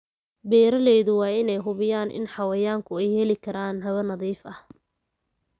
Beeralayda waa in ay hubiyaan in xayawaanku ay heli karaan hawo nadiif ah.